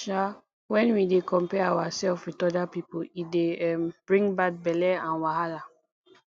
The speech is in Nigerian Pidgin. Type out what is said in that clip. um when we dey compare ourself with oda pipo e dey um bring bad belle and wahala